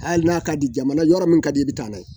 Hali n'a ka di jamana yɔrɔ min ka di i bɛ taa n'a ye